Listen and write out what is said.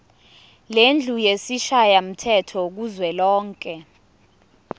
lendlu yesishayamthetho kuzwelonke